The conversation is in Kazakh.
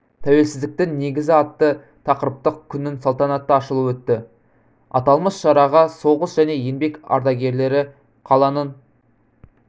тәуелсіздіктің негізі атты тақырыптық күннің салтанатты ашылуы өтті аталмыш шараға соғыс және еңбек ардагерлері қаланың